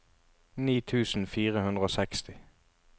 ni tusen fire hundre og seksti